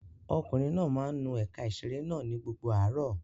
Ọkùnrin náà máa ń nu ẹ̀ka ìṣeré náà ní gbogbo àárọ̀.